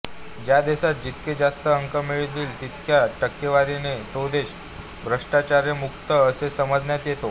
ज्या देशास जितके जास्त अंक मिळतील तितक्या टक्केवारीने तो देश भ्रष्टाचारमुक्त असे समजण्यात येतो